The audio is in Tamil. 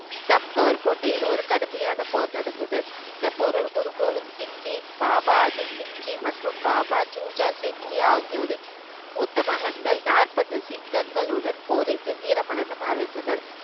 சம்கவர் கோட்டையில் ஒரு கடுமையான போர் நடந்தது இந்தப் போரில் குரு கோவிந்த் சிங் ஜியின் பாபா அஜித் சிங் ஜி மற்றும் பாபா ஜுஜா சிங் ஜி ஆகியோரின் மூத்த மகன்கள் நாற்பது சிங்கங்களுடன் போரிட்டு வீரமரணம் அடைந்தனர்